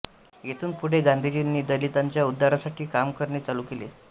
येथून पुढे गांधीजींनी दलितांच्या उद्धारासाठी काम करणे चालू केले